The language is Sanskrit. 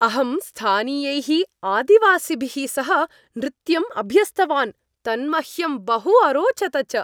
अहं स्थानीयैः आदिवासिभिः सह नृत्यं अभ्यस्तवान्, तन्मह्यं बहु अरोचत च।